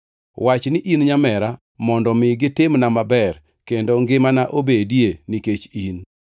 Wach ni in nyamera, mondo mi gitimna maber kendo ngimana obedie nikech in.”